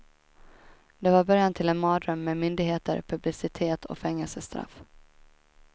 Det var början till en mardröm med myndigheter, publicitet och fängelsestraff.